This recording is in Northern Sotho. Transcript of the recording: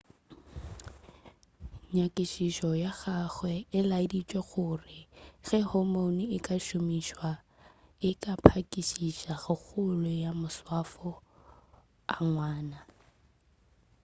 nyakišišo ya gagwe e laeditše gore ge hormone e ka šomišwa e ka phakišiša kgolo ya maswafo a ngwana